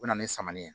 O na ni samanin ye